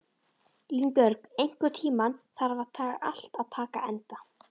Línbjörg, einhvern tímann þarf allt að taka enda.